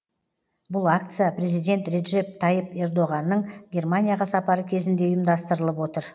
бұл акция президент реджеп тайып ердоғанның германияға сапары кезінде ұйымдастырылып отыр